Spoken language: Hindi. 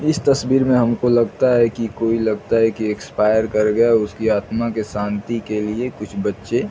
इस तस्वीर में हमको लगता है की कोई लगता है की एक्सपायर कर गया है उसकी आत्मा की शांति के लिए कुछ बच्चे--